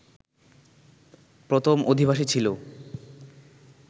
প্রথম অধিবাসী ছিলো